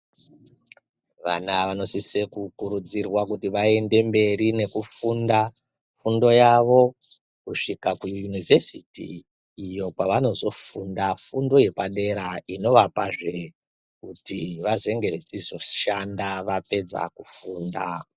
Vana vanosise kukurudzirwa kuti vaende mberi nekufunda fundo yavo kusvika kuyunihvesiti, iyo kwavanozofunda fundo yepadera inovapazve kuti vazenge vechizoshanda vapedza kufunda.